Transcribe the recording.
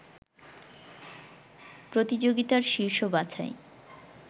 প্রতিযোগিতার শীর্ষ বাছাই